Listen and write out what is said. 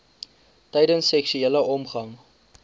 tydens seksuele omgang